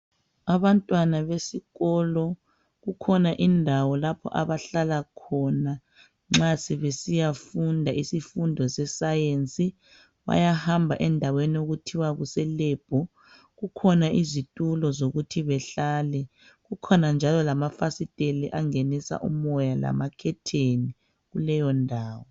Abantwana besikolo kukhona indawo lapha abahlala khona nxa sebesiyafunda isifundo sesayensi bayahamba endaweni okuthiwa kuse lebhu. Kukhona izitulo zokuthi bahlale kukhona njalo lamafasiteli angenisa umoya lamakhetheni kuleyondawo.